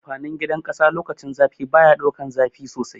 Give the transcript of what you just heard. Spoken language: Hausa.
Amfanin gidan ƙasa lokacin zafi baya daukan zafi sosai